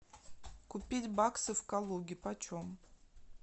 купить баксы в калуге по чем